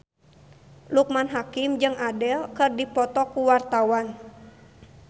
Loekman Hakim jeung Adele keur dipoto ku wartawan